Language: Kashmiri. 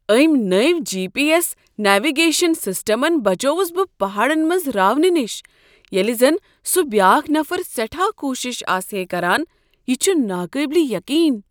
امۍ نٔوۍ G, P, S navigation سسٹمن بچووس بہٕ پہاڑن منٛز راونہٕ نش ییٚلہ زن سُہ بیاکھ نفر سیٹھاہ کوشش آسہے کران، یہ چھ ناقابل یقین!